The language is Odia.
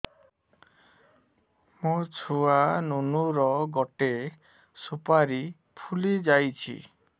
ମୋ ଛୁଆ ନୁନୁ ର ଗଟେ ସୁପାରୀ ଫୁଲି ଯାଇଛି